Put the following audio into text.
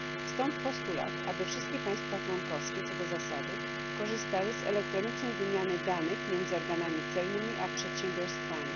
Stąd postulat, aby wszystkie państwa członkowskie co do zasady korzystały z elektronicznej wymiany danych między organami celnymi a przedsiębiorstwami.